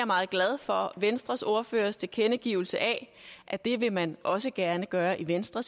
meget glad for venstres ordførers tilkendegivelse af at det vil man også gerne gøre i venstre